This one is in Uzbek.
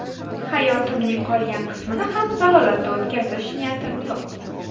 Hayotimning qolgan qismini ham zalolatda o‘tkazish niyatim yo‘q.